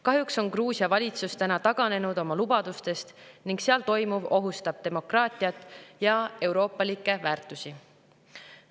Kahjuks on Gruusia valitsus täna taganenud oma lubadustest ning seal toimuv ohustab demokraatiat ja euroopalikke väärtusi.